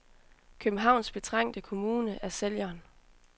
Københavns betrængte kommune er sælgeren.